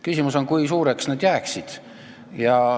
Küsimus on, kui suureks nad jääksid.